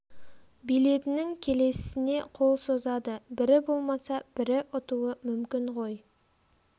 билетінің келесісіне қол созады бірі болмаса бірі ұтуы мүмкін ғой